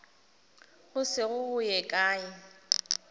go se go ye kae